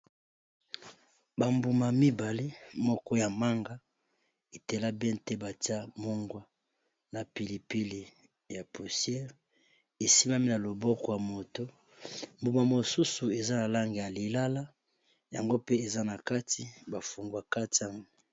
Bambuma mibale moko ya manga etela be te batia mongwa, na pilipili ya pustieure esimami na loboko ya moto mbuma mosusu eza na lange ya lilala, yango pe eza na kati ba fungwa kati yango